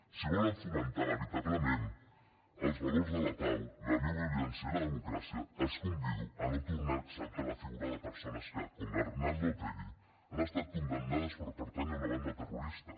si volen fomentar veritablement els valors de la pau la no violència i la democràcia els convido a no tornar a exaltar la figura de persones que com l’arnaldo otegi han estat condemnades per pertànyer a una banda terrorista